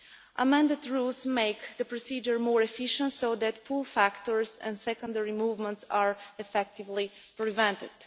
The amended rules make the procedure more efficient so that pull factors and secondary movements are effectively prevented.